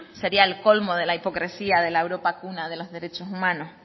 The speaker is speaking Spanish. sería el colmo de la hipocresía de la europa cuna de los derechos humanos